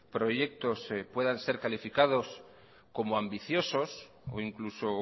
proyectos puedan ser calificados como ambiciosos o incluso